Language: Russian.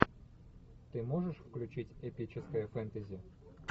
ты можешь включить эпическое фэнтези